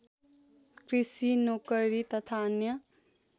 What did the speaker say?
कृषि नोकरी तथा अन्य